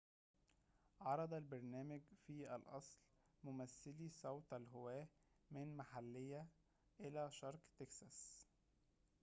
عرض البرنامج في الأصل ممثلي صوت الهواة من محلية إلى شرق تكساس